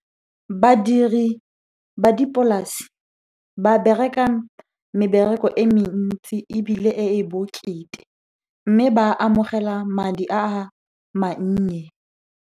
Badiri ba dipolase ba bereka mebereko e mentsi ebile e bokete. Mme ba amogela madi a mannye.